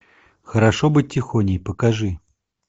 хорошо быть тихоней покажи